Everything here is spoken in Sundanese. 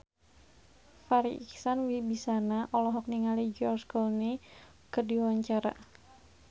Farri Icksan Wibisana olohok ningali George Clooney keur diwawancara